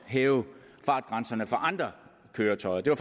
hæve fartgrænserne for andre køretøjer det var